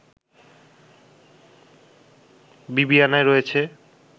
বিবিআনায় রয়েছে